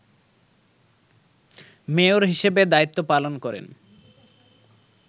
mayor হিসেবে দায়িত্ব পালন করেন